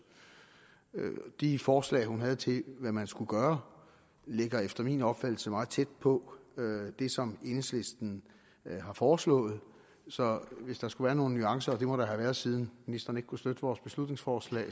de forslag hun havde til hvad man skulle gøre ligger efter min opfattelse meget tæt på det som enhedslisten har foreslået så hvis der skulle være nogle nuancer og det må der have været siden ministeren ikke kunne støtte vores beslutningsforslag